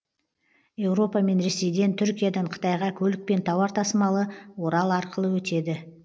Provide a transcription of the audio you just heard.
еуропа мен ресейден түркиядан қытайға көлікпен тауар тасымалы орал арқылы өтеді